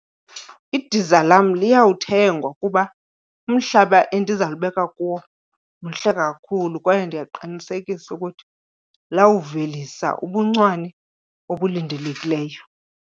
Idiza lam liyawuthengwa kuba umhlaba endizalubeka kuwo mhle kakhulu kwaye ndiyakuqinisekisa ukuthi lawuvelisa ubuncwane obulindelekileyo.